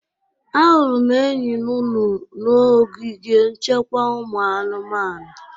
Ahụrụ m enyi nụnụnụ n'ogige nchekwa ụmụ anụmanụ.